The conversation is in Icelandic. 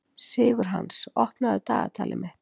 Sigurhans, opnaðu dagatalið mitt.